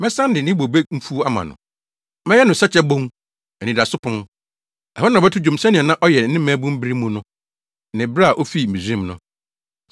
Mɛsan de ne bobe mfuw ama no. Mɛyɛ no Sɛkyɛ Bon, anidaso pon. Ɛhɔ na ɔbɛto dwom sɛnea na ɔyɛ ne mmabun bere mu no ne bere a ofii Misraim no.